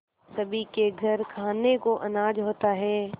सभी के घर खाने को अनाज होता है